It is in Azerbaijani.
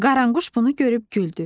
Qaranquş bunu görüb güldü.